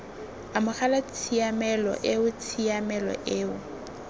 amogela tshiamelo eo tshiamelo eo